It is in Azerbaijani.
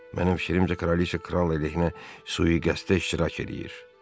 Mənim fikrimcə, kraliçe kral əleyhinə sui-qəsdə iştirak eləyir.